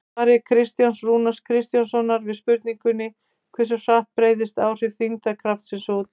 Í svari Kristjáns Rúnars Kristjánssonar við spurningunni Hversu hratt breiðast áhrif þyngdarkraftsins út?